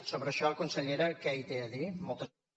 sobre això consellera que hi té a dir moltes gràcies